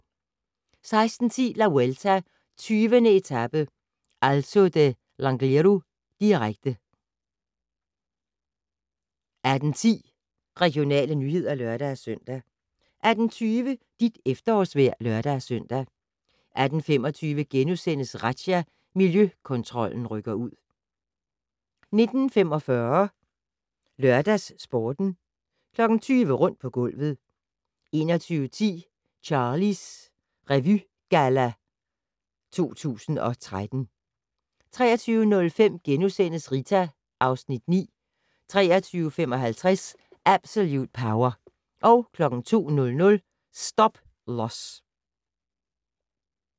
16:10: La Vuelta: 20. etape - Alto de L'Angliru, direkte 18:10: Regionale nyheder (lør-søn) 18:20: Dit efterårsvejr (lør-søn) 18:25: Razzia - Miljøkontrollen rykker ud * 19:45: LørdagsSporten 20:00: Rundt på gulvet 21:10: Charlies Revygalla 2013 23:05: Rita (Afs. 9)* 23:55: Absolute Power 02:00: Stop-Loss